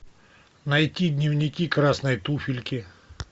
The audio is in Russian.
найти дневники красной туфельки